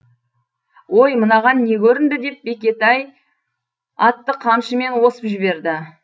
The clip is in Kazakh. ой мынаған не көрінді деп бектай атты қамшымен осып жіберді